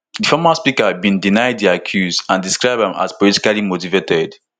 di former speaker bin deny di accuse and describe am as politically motivated